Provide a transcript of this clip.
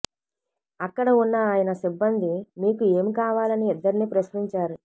అక్కడ ఉన్న ఆయన సిబ్బంది మీకు ఏమి కావాలని ఇద్దరినీ ప్రశ్నించారు